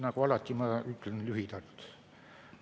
Nagu alati, ma ütlen lühidalt.